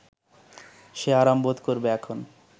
সে আরাম বোধ করবে এখন